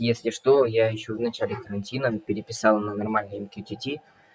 если что я ещё в начале карантина переписала нормальные им тью ти ти